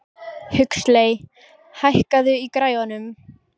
Huxley, hækkaðu í græjunum.